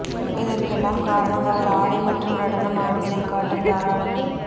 இதற்கெல்லாம் காரணம் அவர் ஆடை மற்றும் நடனம் ஆடுவதில் காட்டும் தாராளமே